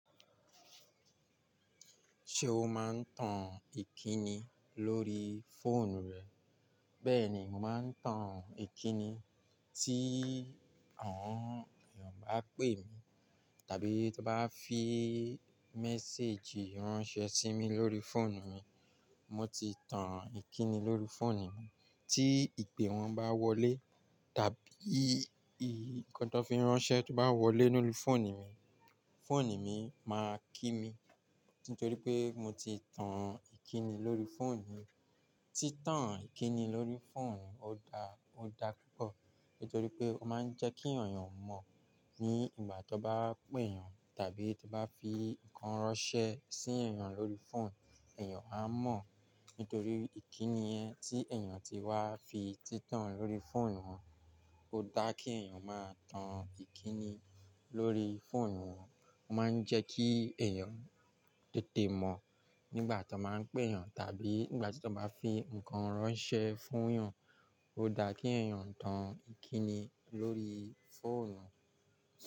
Ṣé o máa ń tan ìkíni lórí fóònù rẹ? Bẹ́ẹ̀ni, mo máa ń tan ìkíni tí àwọn èèyàn bá pè mí, tàbí tí wọ́n bá fi méséèjì ránṣẹ́ sí mi lórí fóònù mi. Mo ti tan ìkíni lórí fóònù mi. Tí ìpè wọ́n bá wọlé, tàbí nǹkan tó fi ránṣẹ́ tó bá wọlé lórí fóònù mi, fóònù mi máa kí mi. Nítorí pé mo ti tan ìkíni lórí fóònù mi. Tí tan ìkíni lórí fóònù, ó da, ó da púpọ̀. Nítorí pé ó máa ń jẹ́ kí èèyàn mọ̀ ní ìgbà tí wọ́n bá pè èèyàn, tàbí tí wọ́n bá fi nǹkan ránṣẹ́ sí èèyàn lórí fóònù, èèyàn á mọ̀. Nítorí ìkíni yẹn tí èèyàn ti wá fi títàn lórí fóònù wọn. Ó da kí èèyàn máa tan ìkíni lórí fóònù wọn. Ó máa ń jẹ́ kí èèyàn tètè mọ̀ nígbà tí wọ́n máa ń pè èèyàn, tàbí nígbà tí wọ́n bá fi nǹkan ránṣẹ́ fún èèyàn. Ó da kí èèyàn tan ìkíni lórí fóònù wọn.